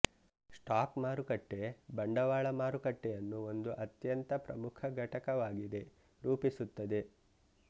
stock ಮಾರುಕಟ್ಟೆ ಬಂಡವಾಳ ಮಾರುಕಟ್ಟೆಯನ್ನು ಒಂದು ಅತ್ಯಂತ ಪ್ರಮುಖ ಘಟಕವಾಗಿದೆ ರೂಪಿಸುತ್ತದೆ